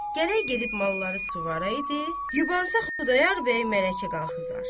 Gərək gedib malları suvaya idi, yubansa Xudayar bəy mərəyə qalıxızar.